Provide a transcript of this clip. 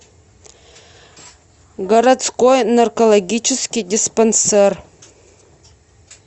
городской наркологический диспансер